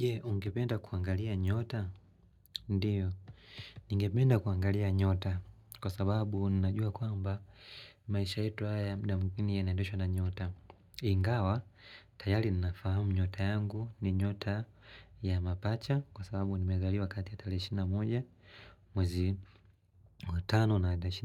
Je, ungependa kuangalia nyota, ndiyo, ningependa kuangalia nyota kwa sababu ninajua kwamba maisha yetu haya ya mda inaendeshwa na nyota. Ingawa, tayari ninafahamu nyota yangu ni nyota ya mapacha kwa sababu nimezaliwa kati ya 21 mwezi wa tano na tarehe